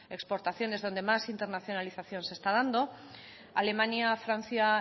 exportaciones donde más internacionalización se está dando alemania francia